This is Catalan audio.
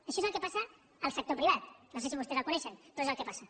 això és el que passa al sector privat no sé si vostès el coneixen però és el que passa